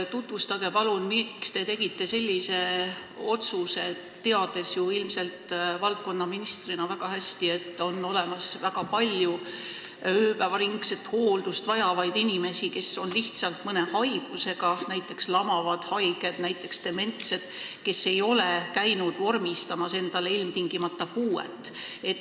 Tutvustage, palun, miks te tegite sellise otsuse, teades ilmselt valdkonnaministrina väga hästi, et on väga palju ööpäev läbi hooldust vajavaid inimesi, kellel on lihtsalt mõni haigus, näiteks lamavad haiged või dementsed inimesed, kellel ei ole ilmtingimata vormistatud puuet.